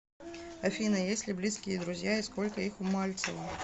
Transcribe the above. афина есть ли близкие друзья и сколько их у мальцева